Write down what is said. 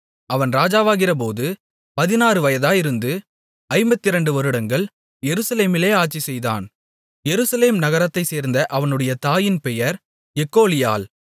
அவன் ராஜாவாகிறபோது பதினாறு வயதாயிருந்து ஐம்பத்திரண்டு வருடங்கள் எருசலேமிலே ஆட்சிசெய்தான் எருசலேம் நகரத்தைச் சேர்ந்த அவனுடைய தாயின் பெயர் எக்கோலியாள்